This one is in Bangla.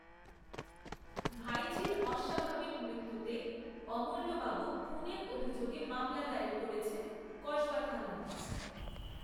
ভাইঝির অস্বাভাবিক মৃত্যুতে অমূল্যবাবু খুনের অভিযোগে মামলা দায়ের করেছেন কসবা থানায়